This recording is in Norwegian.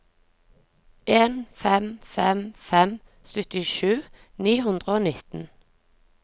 en fem fem fem syttisju ni hundre og nitten